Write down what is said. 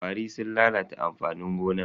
ƙwari sun lalata amfanin gonan.